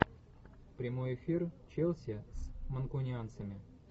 прямой эфир челси с манкунианцами